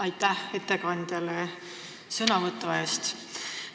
Aitäh ettekandjale sõnavõtu eest!